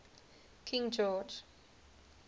king george